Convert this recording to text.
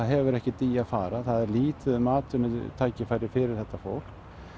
hefur ekkert í að fara það er lítið um atvinnutækifæri fyrir þetta fólk